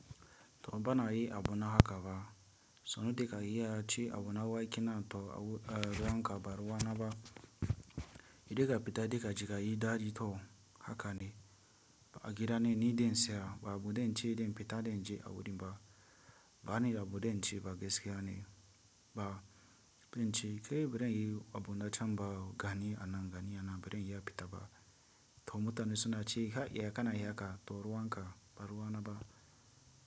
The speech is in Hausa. To bana yi abuna haka ba, so nu deka iya ci abuna wa ke na to awu, eh, zamu ka baruwa na ba. Idan ka fita, da ka jika yi dadi to haka ne. A gida ne ni den saya ba abu dan ce den fita den je a wurin ba. Ba ni da abu zan ce ba gaskiya ne ba. Bincike birin yi abuna can ba gani anan gani anan birin iya fita ba. To mutane suna ci kai ya kana yin haka to ruwa ka baruwa na ba.